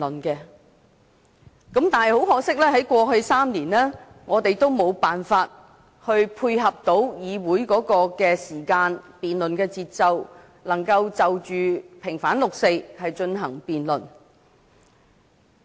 但是，很可惜，在過去3年，我們都無法配合議會的時間和辯論的節奏，可以在6月4日前就平反六四進行辯論。